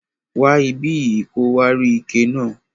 Wa ibiyi ki o wa rí ike náà.